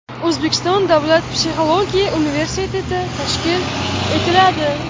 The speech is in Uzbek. O‘zbekiston davlat psixologiya universiteti tashkil etiladi.